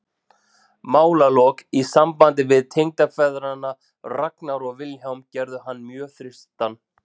Málalok í sambandi við tengdafeðgana Ragnar og Vilhjálm gerðu hann mjög þyrstan.